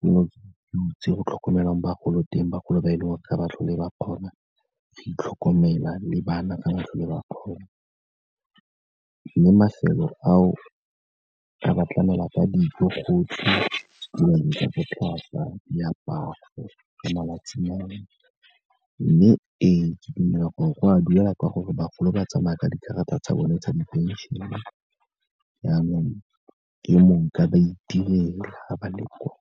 di butswe go tlhokomelwa bagolo teng, bagolo ba e leng gore ga ba tlhole ba kgona go itlhokomela le bana ga ba tlhole ba kgona. Mme mafelo ao, a ka ba tlamela ka dijo gotlhe, botlhaswa, diaparo le malatsinyana. Mme ee, ke dumela gore go a duelwa ka gore bagolo ba tsamaya ka dikarata tsa bone tsa diphenšene, jaanong ke monka ba itirela ga ba le kwa.